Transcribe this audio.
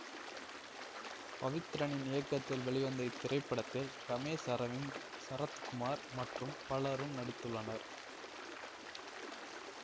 பவித்ரனின் இயக்கத்தில் வெளிவந்த இத்திரைப்படத்தில் ரமேஷ் அரவிந்த் சரத்குமார் மற்றும் பலரும் நடித்துள்ளனர்